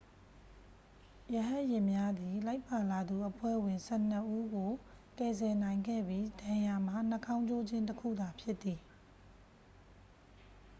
ရဟတ်ယာဉ်များသည် လိုက်ပါလာသူအဖွဲ့ဝင် ဆယ့်နှစ်ဦးကို ကယ်ဆယ်နိုင်ခဲ့ပြီး ဒဏ်ရာမှာ နှာခေါင်းကျိုးခြင်း တစ်ခုသာဖြစ်သည်